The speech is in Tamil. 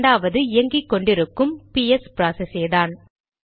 இரண்டாவது இயங்கிக்கொண்டு இருக்கும் பிஎஸ் ப்ராசஸேதான்